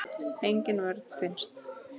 Engin vörn finnst.